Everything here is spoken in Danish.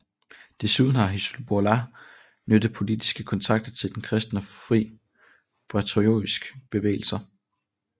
Desuden har Hizbollah knyttet politiske kontakter til den kristne Fri Patriotisk Bevægelse